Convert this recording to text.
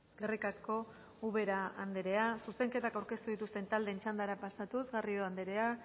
eskerrik asko ubera andrea zuzenketak aurkeztu dituzten taldeen txandara pasatuz garrido andreak